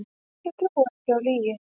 Ég trúi ekki á lygi